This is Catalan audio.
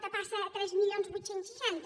zero passa a tres mil vuit cents i seixanta